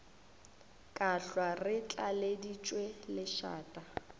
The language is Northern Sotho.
ka hlwa re tlaleditšwe lešata